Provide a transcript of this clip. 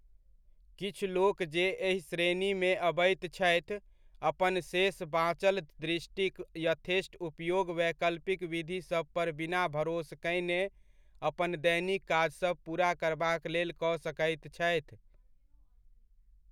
किछु लोक जे एहि श्रेणीमे अबैत छथि, अपन शेष बाँचल दृष्टिक यथेष्ट उपयोग वैकल्पिक विधिसभ पर बिना भरोस कयने अपन दैनिक काजसभ पूरा करबाक लेल कऽ सकैत छथि।